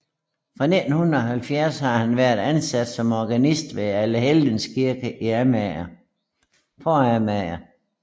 Fra 1970 har han været ansat som organist ved Allehelgens Kirke i på Amager